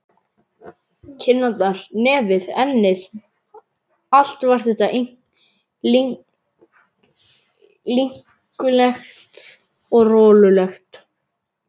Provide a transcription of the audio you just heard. Kinnarnar, nefið, ennið, allt var þetta linkulegt og rolulegt.